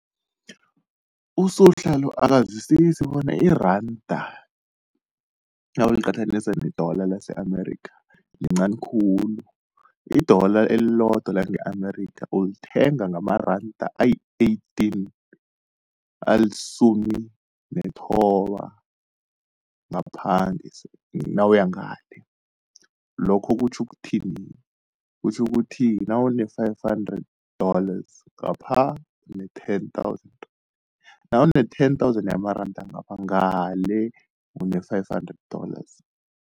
USuhla lo akazwisisi bona iranda nawuliqathanisa ne-dollar lase-Amerika, lincani khulu. I-dollar elilodwa lange-Amerika, ulithenga ngamaranda ayi-eighteen alisumi nethoba ngapha nawuya ngale. Lokho kutjho ukuthini, kutjho ukuthi nawune-five hundred dollars ngapha une-ten thousand. Nawune-ten thousand yamaranda ngapha ngale une-five hundred dollars.